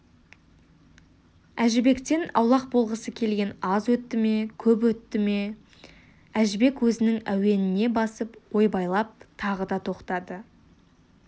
әжібектен аулақ болғысы келген аз өтті ме көп өтті ме әжібек өзінің әуеніне басып ойбайлап тағы да тоқтады